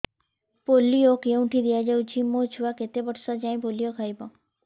polio କେଉଁଠି ଦିଆଯାଉଛି ମୋ ଛୁଆ କେତେ ବର୍ଷ ଯାଏଁ ପୋଲିଓ ଖାଇବ